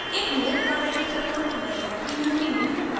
एक नियत कार्य की तरह मैं चाहती हूँ कि निम्न कार्य करें